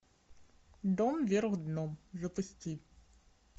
дом вверх дном запусти